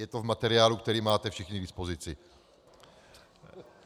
Je to v materiálu, který máte všichni k dispozici.